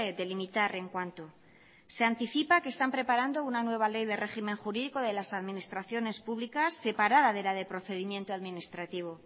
delimitar en cuánto se anticipa que están preparando una nueva ley de régimen jurídico de las administraciones públicas separada de la de procedimiento administrativo